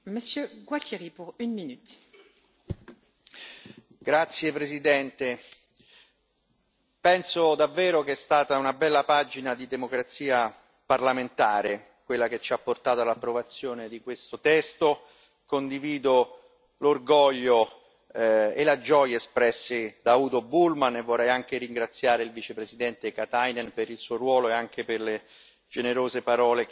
Signora Presidente, onorevoli colleghi, penso davvero che sia stata una bella pagina di democrazia parlamentare, quella che ci ha portato all'approvazione di questo testo. Condivido l'orgoglio e la gioia espressi da Udo Bullmann, e vorrei anche ringraziare il Vicepresidente Katainen per il suo ruolo e anche per le generose parole che ha espresso